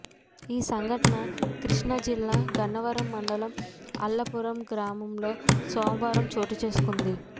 ఈ సంఘటన కృష్ణా జిల్లా గన్నవరం మండలం అల్లాపురం గ్రామంలో సోమవారం చోటుచేసుకుంది